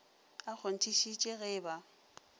a kgonthišiše ge e ba